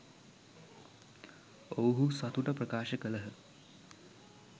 ඔවුහු සතුට ප්‍රකාශ කළහ.